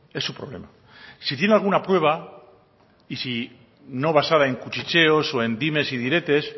es su problema si tiene alguna prueba no basada en cuchicheos o en dimes y diretes